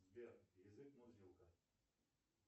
сбер язык мурзилка